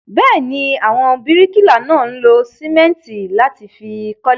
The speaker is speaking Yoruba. Bẹ́ẹ̀ ni, àwọn bíríkìlà náà lo sìmẹ́ńtì láti fi kọ́lé.